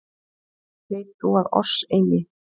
Veit þú að oss eigi